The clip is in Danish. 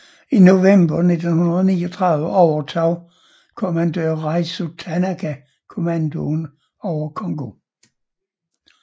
I november 1939 overtog kommandør Raizo Tanaka kommandoen over Kongō